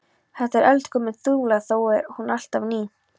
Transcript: Þetta er eldgömul þula þó er hún alltaf ný.